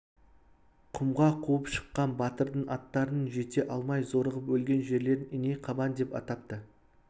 құмға қуып шыққан батырдың аттарының жете алмай зорығып өлген жерлерін иней қабан деп атапты